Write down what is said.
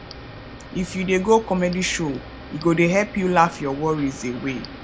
if you dey go comedy show e go dey help you laugh your worries away